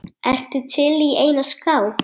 Ertu til í eina skák?